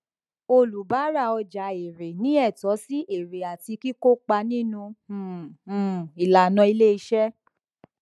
oníbàárà ọjà èèrè ní ẹtọ sí èèrè àti kíkópà nínú um um ìlànà ilé iṣẹ